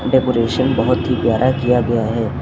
Decoration बहुत ही प्यार किया गया है।